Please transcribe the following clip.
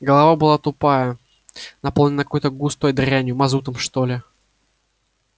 голова была тутая наполненная какой-то густой дрянью мазутом что ли